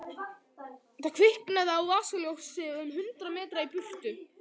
Það kviknaði á vasaljósi um hundrað metra í burtu.